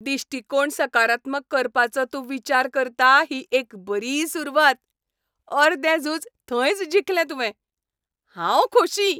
दिश्टीकोण सकारात्मक करपाचो तूं विचार करता ही एक बरी सुरवात. अर्दें झूज थंयच जिखलें तुवें, हांव खोशी.